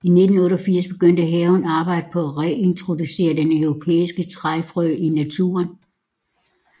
I 1988 begyndte haven arbejdet på at reintroducere den europæiske træfrø i naturen